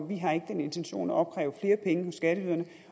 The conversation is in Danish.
vi har ikke den intention at opkræve flere penge hos skatteyderne